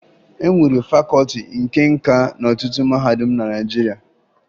E nwere Fakọọti nke Nka n'ọtụtụ mahadum na Naịjirịa